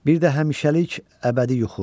Bir də həmişəlik əbədi yuxu.